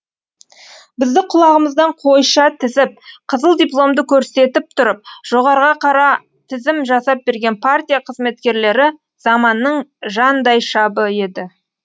бізді құлағымыздан қойша тізіп қызыл дипломды көрсетіп тұрып жоғарыға қара тізім жасап берген партия қызметкерлері заманның жандайшабы еді